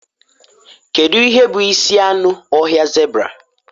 Kedu ihe bụ isi anụ ọhịa zebra?